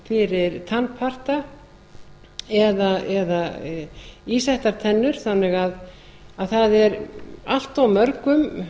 fyrir tannparta eða ísettar tennur þannig að það er allt of mörgum